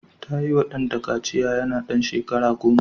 Ta yiwa ɗanta kaciya yana da shekara goma.